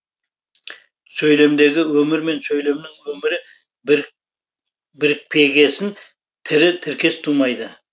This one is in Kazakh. сөйлемдегі өмір мен сөйлемнің өмірі бірікпегесін тірі тіркес тумайды